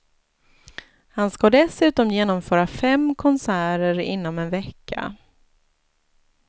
Han ska dessutom genomföra fem konserter inom en vecka.